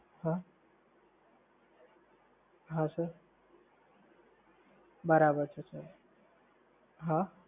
હા, હા સર. બરાબર છે સર, હા